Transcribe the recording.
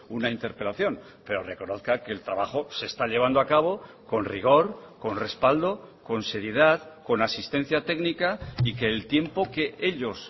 una interpelación pero reconozca que el trabajo se está llevando a cabo con rigor con respaldo con seriedad con asistencia técnica y que el tiempo que ellos